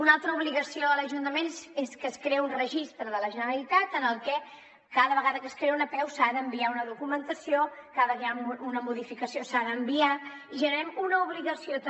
una altra obligació de l’ajuntament és que es crea un registre de la generalitat en el que cada vegada que es creï una apeu s’ha d’enviar una documentació cada vegada que hi ha una modificació s’ha d’enviar i generem una obligació també